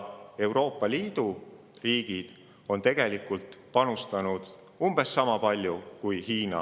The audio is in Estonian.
Euroopa Liidu riigid kokku on emiteerinud umbes sama palju kui Hiina.